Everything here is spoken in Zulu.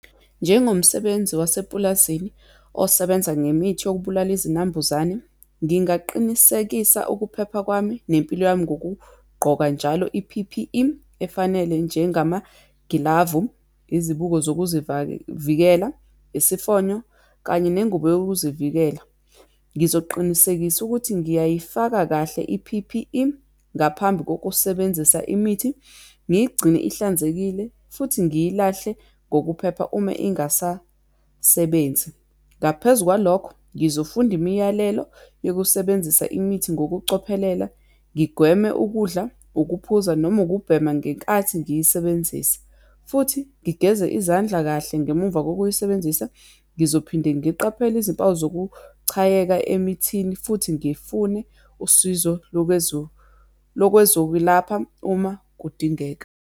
Njengomsebenzi wasepulazini osebenza ngemithi yokubulala izinambuzane, ngingaqinisekisa ukuphepha kwami, nempilo yami ngokugqoka njalo i-P_P_E efanele, njengamagilavu, izibuko zokuzivavikela, isifonyo, kanye nengubo yokuzivikela. Ngizoqinisekisa ukuthi ngiyayifaka kahle i-P_P_E ngaphambi kokusebenzisa imithi, ngiyigcine ihlanzekile futhi ngiyilahle ngokuphepha uma ingasasebenzi. Ngaphezu kwalokho, ngizofunda imiyalelo yokusebenzisa imithi ngokucophelela, ngigweme ukudla, ukuphuza, noma ukubhema ngenkathi ngiyisebenzisa, futhi ngigeze izandla kahle ngemuva kokuyisebenzisa. Ngizophinde ngiqaphele izimpawu zokuchayeka emithini, futhi ngifune usizo lokwezokwelapha uma kudingeka.